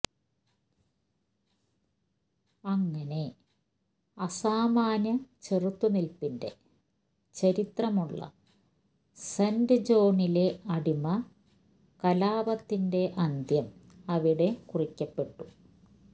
അങ്ങനെ അസാമാന്യ ചെറുത്തുനിൽപ്പിന്റെ ചരിത്രമുള്ള സെന്റ് ജോണിലെ അടിമ കലാപത്തിന്റെ അന്ത്യം അവിടെ കുറിക്കപ്പെട്ടു